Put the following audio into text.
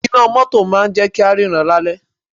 Iná mótò máà ń jẹ́ kí á ríran ní alẹ́.